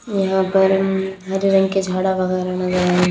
यहां बेड़न हरे रंग के झाड़ा वगैरा नजर आ रहे--